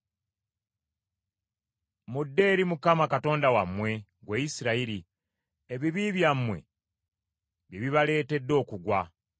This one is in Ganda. Mudde eri Mukama Katonda wammwe, ggwe Isirayiri. Ebibi byammwe bye bibaleetedde okugwa.